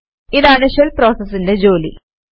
ഇതാണ് ഷെൽ പ്രോസസിന്റെ ജോലി